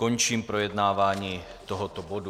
Končím projednávání tohoto bodu.